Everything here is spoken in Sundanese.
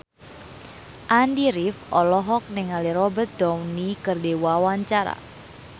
Andy rif olohok ningali Robert Downey keur diwawancara